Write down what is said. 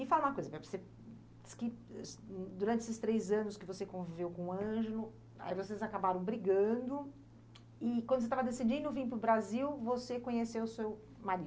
E fala uma coisa, você diz que, durante esses três anos que você conviveu com o Ângelo, aí vocês acabaram brigando, e quando você estava decidindo vir para o Brasil, você conheceu o seu marido.